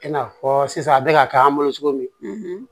I n'a fɔ sisan a bɛ ka k'an bolo cogo min